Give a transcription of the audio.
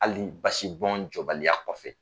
Ali basi bɔn jɔbaliya kɔfɛ